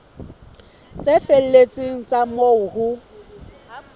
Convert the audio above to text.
tse felletseng tsa moo ho